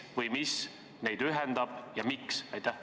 Kes või mis neid ühendab ja miks?